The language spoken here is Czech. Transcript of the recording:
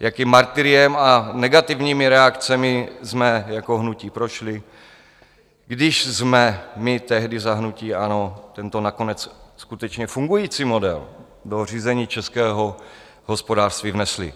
jakým martyriem a negativními reakcemi jsme jako hnutí prošli, když jsme my tehdy za hnutí ANO tento nakonec skutečně fungující model do řízení českého hospodářství vnesli.